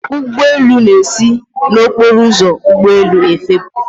ụgbọ elu na-esi n'okporo ụzọ ụgbọ elu efepụ